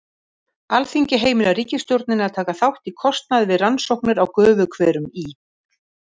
Alþingi heimilar ríkisstjórninni að taka þátt í kostnaði við rannsóknir á gufuhverum í